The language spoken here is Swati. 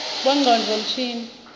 bongcondvo mshini